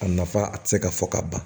A nafa a tɛ se ka fɔ ka ban